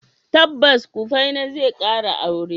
Tabbas, Kufena zai kara aure.